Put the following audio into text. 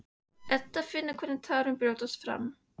Edda finnur hvernig tárin brjótast fram.